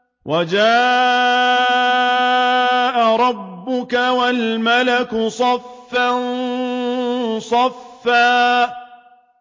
وَجَاءَ رَبُّكَ وَالْمَلَكُ صَفًّا صَفًّا